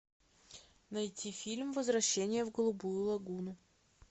найти фильм возвращение в голубую лагуну